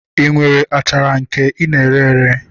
I nwere achara nke I na-ere ere?